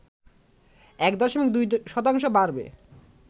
১ দশমিক ২ শতাংশ বাড়বে